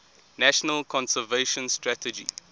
national conservation strategy